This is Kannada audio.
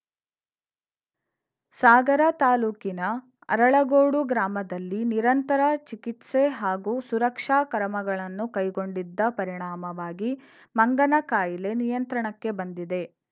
ಸಾಗರ ತಾಲೂಕಿನ ಅರಳಗೋಡು ಗ್ರಾಮದಲ್ಲಿ ನಿರಂತರ ಚಿಕಿತ್ಸೆ ಹಾಗೂ ಸುರಕ್ಷಾ ಕ್ರಮಗಳನ್ನು ಕೈಗೊಂಡಿದ್ದ ಪರಿಣಾಮವಾಗಿ ಮಂಗನಕಾಯಿಲೆ ನಿಯಂತ್ರಣಕ್ಕೆ ಬಂದಿದೆ